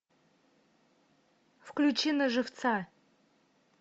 включи на живца